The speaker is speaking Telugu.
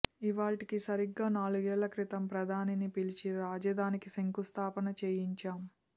ఇవాళ్టికి సరిగ్గా నాలుగేళ్ల క్రితం ప్రధానిని పిలిచి రాజధానికి శంకుస్థాపన చేయించాం